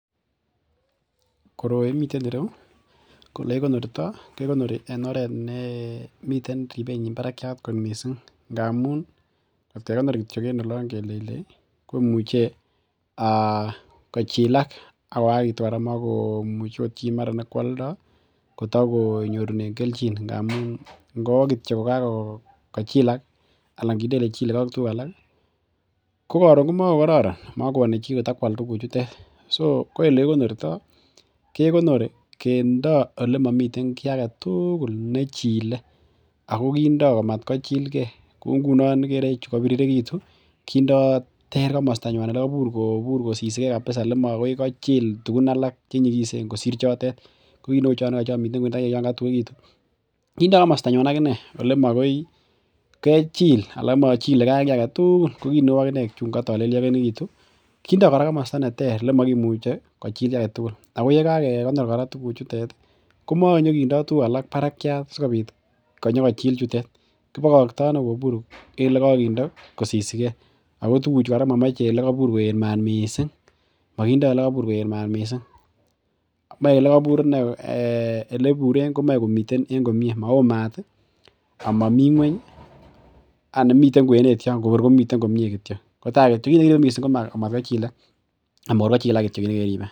Koroi miten ireu ko yekikonorto ke konori en oret nemiten ribenyin barakiat missing ngamun otkekonor en oloon kityo kelei komuche kochilak ak koyakitun mokomuche akot chi nekoaldo kotokonyorunen kelchin ngamun ngowo kityo ko Kakochilak ko koron ko makokororan makoyani chi ko tokual tuguk chutet so ko elekikonorto kekonori kindoo ole mamiten kiagetugul nechile ako kindoo komat ko chilge kou ngunon chekobiririkitu kindo komosto neter ole kobur kosisike kabisa ole makoikochil tugun alak che nyigisen kosir choto ko ki neuu chomiten chekotuegitun kindoo komosto nyuan agichek olemokoi kechil anan mochilege aki agetugul ko kineuu akichek chongo toleliakitu kindo komosto neter ole mogimuche .ko yekoge konor tuguk chutet ko monyokindo tuguk alak barak sikobit kochil chutet kibokoto kobur en ole kokinde kosisike ako tuguk chu komamoche kora ole kobur koet mat missing mae olekabur komoe komiten en komie mao mat ako Mami ng'uany aani miten kwenet yo kinekiribe missing ko taa matkochilak .